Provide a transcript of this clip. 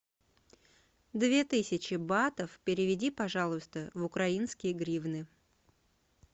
две тысячи батов переведи пожалуйста в украинские гривны